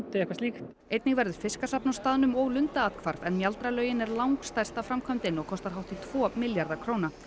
eitthvað slíkt einnig verður fiskasafn á staðnum og lundaathvarf en mjaldralaugin er langstærsta framkvæmdin og kostar hátt í tvo milljarða króna